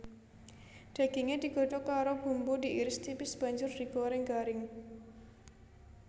Daginge digodhog karo bumbu diiris tipis banjur digoreng garing